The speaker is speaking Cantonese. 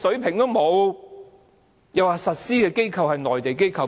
它又說實施的機構是內地機構。